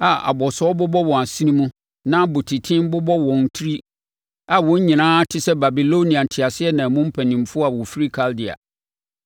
a abɔsoɔ bobɔ wɔn asene mu na abɔtiten bobɔ wɔn tiri a wɔn nyinaa te sɛ Babilonia nteaseɛnam mu mpanimfoɔ a wɔfiri Kaldea.